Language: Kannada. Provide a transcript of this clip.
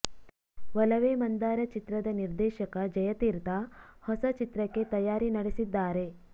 ಒಲವೇ ಮಂದಾರ ಚಿತ್ರದ ನಿರ್ದೇಶಕ ಜಯತೀರ್ಥ ಹೊಸ ಚಿತ್ರಕ್ಕೆ ತಯಾರಿ ನಡೆಸಿದ್ದಾರೆ